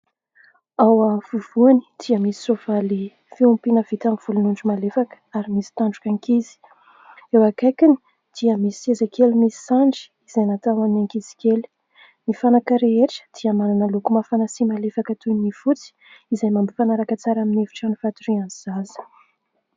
Ao afovoany dia misy "sofa" ilay fiompiana vita amin'ny volon'ondry malefaka ary misy tandrok'ankizy. Eo ankaikiny dia misy sezakely misy sandry izay natao ho an'ny ankizy kely. Ny fanaka rehetra dia manana loko mafana sy malefaka toy ny fotsy izay mampifanaraka tsara amin'ny efitra fatorian'ny zaza.